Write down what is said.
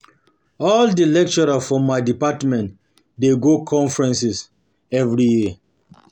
All di lecturers for my department dey go conference conference every year.